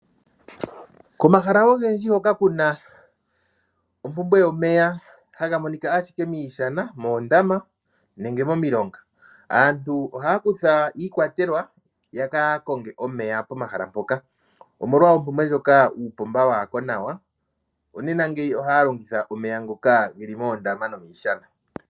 Komahala ogendji hoka kuna ompumbwe yomeya, haga monika ashika miishana moondama nenge momilonga. Aantu ohaya kutha iikwatelwa yaka konge omeya pomahala mpoka omolwa oompumbwe ndjoka uupomba waako nawa, nonena ngeyi ohaya longitha omeya ngoka geli moondama no miishana.